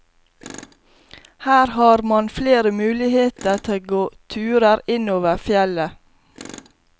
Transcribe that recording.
Her har man flere muligheter til å gå turer innover fjellet.